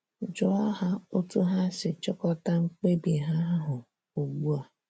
Jụọ ha otú ha si chịkọta mkpebi ha ahụ ugbu a.